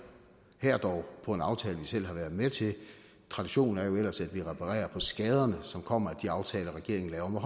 her dog på en aftale som vi selv har været med til traditionen er jo ellers at vi reparerer på skaderne som kommer af de aftaler regeringen laver med